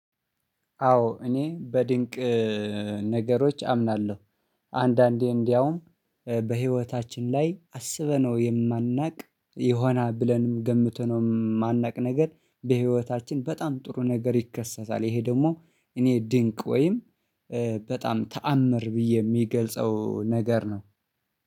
አዎ እኔ በድንቅ ነገሮች አምናለሁ። አንዳንዴ እንደውም በህይወታችን ላይ አስበነው የማናውቅ የሆናል ብለንም ገምተነው የማናውቅ ነገር በህይወታችን በጣም ጥሩ ነገር ይከሰታል። ይሄ ደግሞ እኔ ድንቅ ወይም በጣም ተአምር ብዬ የሚገልጸው ነገር ነው